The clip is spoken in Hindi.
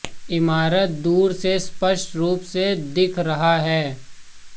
इमारत दूर से स्पष्ट रूप से दिख रहा है